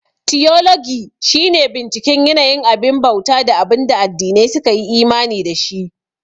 Tiyologi shi ne binciken yanayin abin bauta da abunda addinai su kayi imani da shi